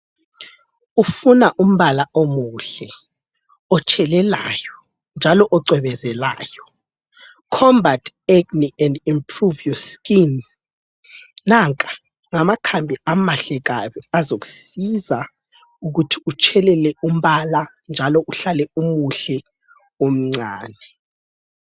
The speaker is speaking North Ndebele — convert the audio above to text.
Ufuna umbala omuhle, otshelelayo njalo ocwebezelayo, Combat Acne And Improve Your Skin. Nanka ngamakhambi amahle kabi azokusiza ukuthi utshelele umbala njalo uhlale umuhle, umncane.